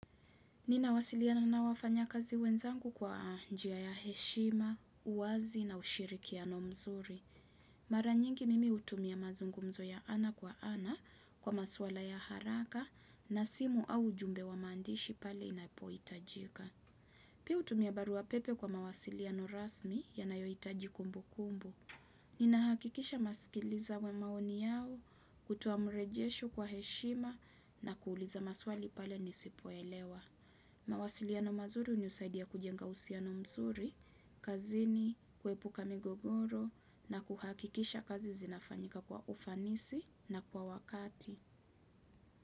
Ninawasiliana na wafanyakazi wenzangu kwa njia ya heshima, uwazi na ushirikiano mzuri. Mara nyingi mimi hutumia mazungumzo ya ana kwa ana kwa masuala ya haraka na simu au jumbe wa maandishi pale inapohitajika. Pia hutumia barua pepe kwa mawasiliano rasmi ya nayohitaji kumbu kumbu. Ninahakikisha naskiliza maoni yao kutoa mrejesho kwa heshima na kuuliza maswali pale nisipo elewa. Mawasiliano mazuri hunisaidia kujenga uhusiano mzuri, kazini, kuepuka migogoro na kuhakikisha kazi zinafanyika kwa ufanisi na kwa wakati.